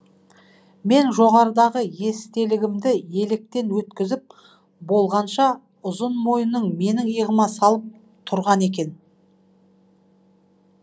мен жоғарыдағы естелігімді електен өткізіп болғанша ұзын мойнын менің иығыма салып тұрған екен